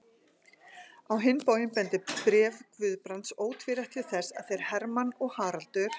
Á hinn bóginn bendir bréf Guðbrands ótvírætt til þess, að þeir Hermann og Haraldur